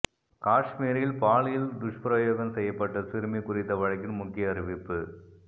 காஷ்மீரில் பாலியல் துஷ்பிரயோகம் செய்யப்பட்ட சிறுமி குறித்த வழக்கின் முக்கிய அறிவிப்பு